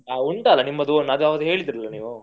ಹ ಉಂಟಲ್ಲ ನಿಮ್ಮದು own ಅದ್ ಅವತ್ತು ಹೇಳಿದ್ರಲ್ಲ ನೀವು.